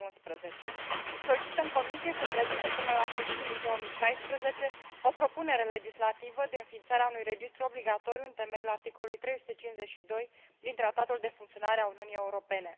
2011. Solicităm Comisiei să prezinte până la sfârșitul lui 2016 o propunere legislativă de înființare a unui registru obligatoriu în temeiul articolului 352 din Tratatul de funcționare a Uniunii Europene.